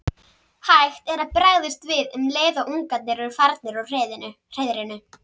Hægt er að bregðast við um leið og ungarnir eru farnir úr hreiðrinu.